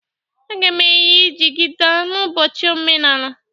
Aga m eyi jigida n'ụbọchị omenala.